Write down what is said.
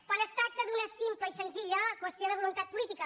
quan es tracta d’una simple i senzilla qüestió de voluntat política